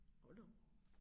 Hold da op